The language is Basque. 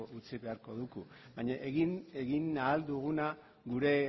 utzi beharko dugu baina egin ahal duguna gure